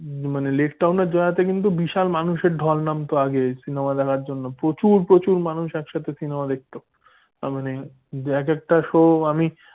মানে লেকটাউনের দয়াতে কিন্তু বিশাল মানুষের ঢল নাম তো আগে cinema দেখার জন্য প্রচুর প্রচুর মানুষ একসাথে cinema দেখতো। মানে এক একটা show আমি